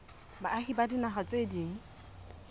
baahi ba dinaha tse ding